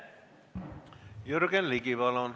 Jürgen Ligi, palun!